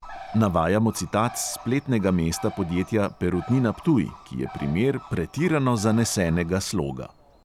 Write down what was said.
Navajamo citat s spletnega mesta podjetja perutnina ptuj, ki je primer pretirano zanesenega sloga.